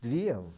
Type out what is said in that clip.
Lia.